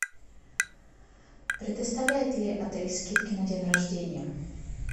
предоставляет ли отель скидки на день рождения